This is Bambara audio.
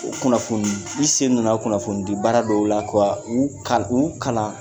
U kunnafoni, i sen donna kunnafoni di baara dɔw la ka u ka u kalan